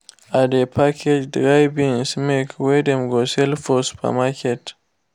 i dey package dry beans make wey dem go sale for supermarket